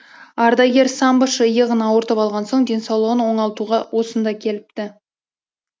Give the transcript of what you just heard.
ардагер самбошы иығын ауыртып алған соң денсаулығын оңалтуға осында келіпті